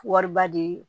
Wariba di